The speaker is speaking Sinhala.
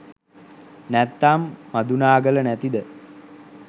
නැත්නම් මදුනාගල නැතිද